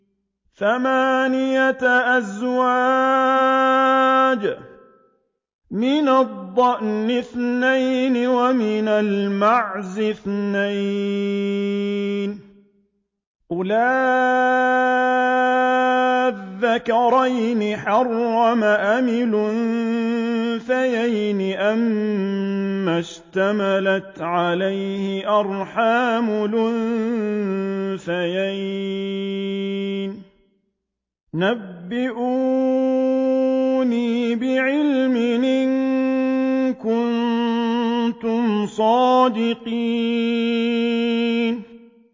ثَمَانِيَةَ أَزْوَاجٍ ۖ مِّنَ الضَّأْنِ اثْنَيْنِ وَمِنَ الْمَعْزِ اثْنَيْنِ ۗ قُلْ آلذَّكَرَيْنِ حَرَّمَ أَمِ الْأُنثَيَيْنِ أَمَّا اشْتَمَلَتْ عَلَيْهِ أَرْحَامُ الْأُنثَيَيْنِ ۖ نَبِّئُونِي بِعِلْمٍ إِن كُنتُمْ صَادِقِينَ